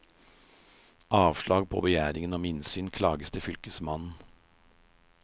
Avslag på begjæring om innsyn klages til fylkesmannen.